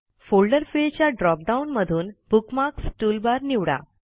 folder फिल्डच्या drop down मधूनBookmarks toolbar निवडा